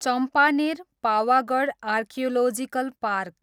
Champaner, Pavagadh archaeological park